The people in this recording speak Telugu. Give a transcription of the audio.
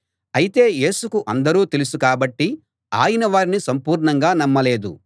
అయితే యేసుకు అందరూ తెలుసు కాబట్టి ఆయన వారిని సంపూర్ణంగా నమ్మలేదు